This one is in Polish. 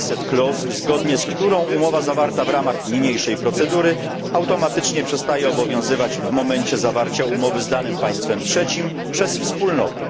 sunset clause, zgodnie z którą umowa zawarta w ramach niniejszej procedury automatycznie przestaje obowiązywać w momencie zawarcia umowy z danym państwem trzecim przez Wspólnoty.